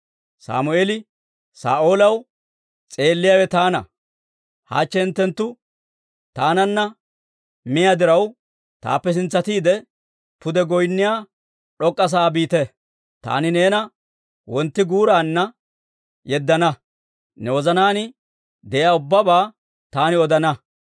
Sammeeli Saa'oolaw, «S'eelliyaawe taana. Hachche hinttenttu taananna miyaa diraw, taappe sintsatiide, pude goynniyaa d'ok'k'a sa'aa biite. Taani neena wontti guuraanna yeddana; ne wozanaan de'iyaa ubbabaa taani odana.